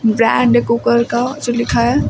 Brand है cooker का जो लिखा है।